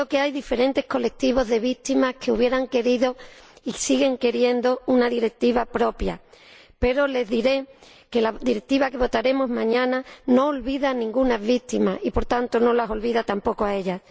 Creo que hay diferentes colectivos de víctimas que habrían querido y siguen queriendo una directiva propia, pero les diré que la Directiva que votaremos mañana no olvida a ninguna víctima y, por tanto, no las olvida tampoco a ellas.